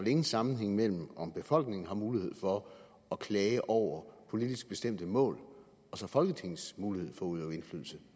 ingen sammenhæng mellem om befolkningen har mulighed for at klage over politisk bestemte mål og så folketingets mulighed for at udøve indflydelse